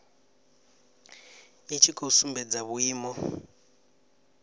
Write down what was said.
i tshi khou sumbedza vhuimo